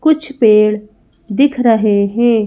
कुछ पेड़ दिख रहे हैं।